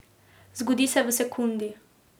Zgodi se v sekundi.